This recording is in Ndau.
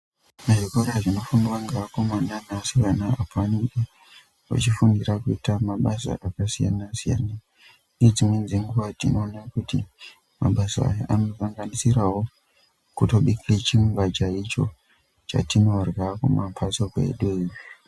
Muzvikora zvinofundwa ngevakomana nevasikana apo anenge achifundira kuita mabasa akasiyana-siyana. Nedzimweni dzenguva tinoona kuti mabasa aya anosanganisiravo kutobika chingwa chaicho chatinorya kumamhatso kwedu.